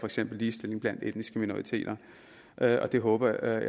eksempel ligestilling blandt etniske minoriteter og jeg håber